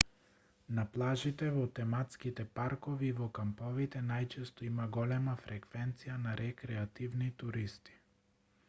на плажите во тематските паркови и во камповите најчесто има голема фреквенција на рекреативни туристи